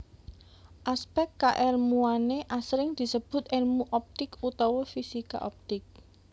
Aspèk kaèlmuwané asring disebut èlmu optik utawa fisika optik